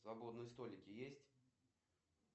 свободные столики есть